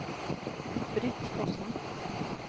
Britt Fossen